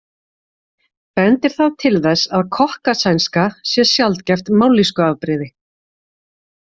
Bendir það til þess að kokkasænska sé sjaldgæft mállýskuafbrigði.